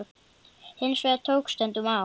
Hins vegar tók stundum á.